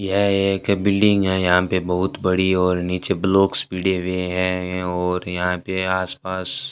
यह एक बिल्डिंग है यहां पे बहुत बड़ी और नीचे ब्लॉक्स भिड़े हुए हैं और यहां पे आसपास --